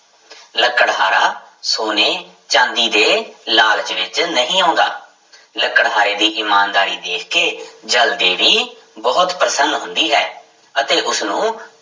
ਲੱਕੜਹਾਰਾ ਸੋਨੇ, ਚਾਂਦੀ ਦੇ ਲਾਲਚ ਵਿੱਚ ਨਹੀਂ ਆਉਂਦਾ ਲੱਕੜਹਾਰੇ ਦੀ ਇਮਾਨਦਾਰੀ ਦੇਖ ਕੇ ਜਲ ਦੇਵੀ ਬਹੁਤ ਪ੍ਰਸੰਨ ਹੁੰਦੀ ਹੈ ਅਤੇ ਉਸਨੂੰ